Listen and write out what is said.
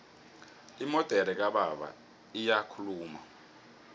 imodere kababa iyakhuluma